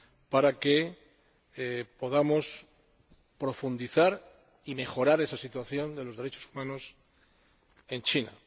para que podamos profundizar y mejorar esa situación de los derechos humanos en China.